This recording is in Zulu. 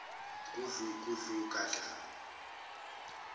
gudlu gudlu gadla